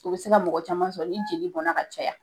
U be se ka mɔgɔ caman sɔrɔ n'i jeli bɔnna ka caya